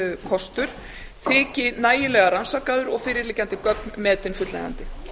kostur þyki nægilega rannsakaður og fyrirliggjandi gögn metin fullnægjandi